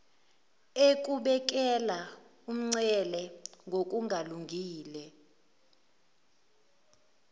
ukubekela umncele ngokungalungile